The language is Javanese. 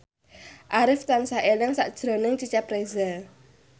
Arif tansah eling sakjroning Cecep Reza